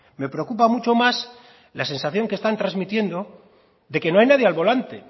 me preocupa mucho más la sensación que están transmitiendo de que no hay nadie al volante